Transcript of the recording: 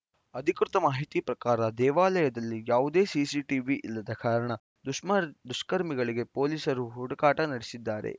ಅಧಿಕೃತ ಮಾಹಿತಿ ಪ್ರಕಾರ ದೇವಾಲಯದಲ್ಲಿ ಯಾವುದೇ ಸಿಸಿಟೀವಿ ಇಲ್ಲದ ಕಾರಣ ದುಷ್ಕರ್ಮಿಗಳಿಗಾಗಿ ಪೊಲೀಸರು ಹುಡುಕಾಟ ನಡೆಸಿದ್ದಾರೆ